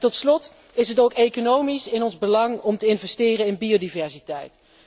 Tot slot is het ook economisch in ons belang om te investeren in biodiversiteit.